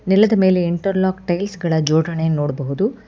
ನೆಲದ ಮೇಲೆ interlock tiles ಗಳ ಜೋಡಣೆ ನೋಡಬಹುದು.